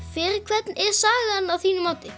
fyrir hvern er sagan að þínu mati